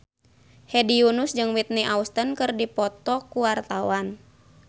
Hedi Yunus jeung Whitney Houston keur dipoto ku wartawan